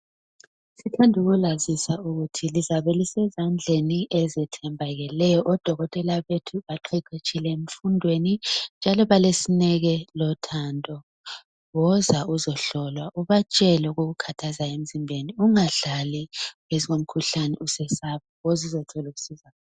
Sithanda ukulazisa ukuthi lizabe lisezandleni ezethembakeleyo. Odokotela bethu baqeqetshile emfundweni njalo balesineke lothando. Woza uzohlolwa ubatshele okukukathazayo emzimbeni ungadlali ngezomkhuhlane usesaba. Woza uzothola usizo.